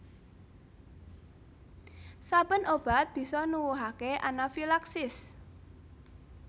Saben obat bisa nuwuhake anafilaksis